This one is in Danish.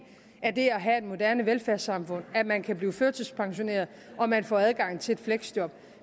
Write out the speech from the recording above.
af det at have et moderne velfærdssamfund at man kan blive førtidspensioneret og kan få adgang til et fleksjob